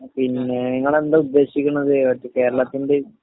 നിങ്ങളെന്താ ഉദ്ദേശിക്കണത്? കേരളത്തിന്റെ...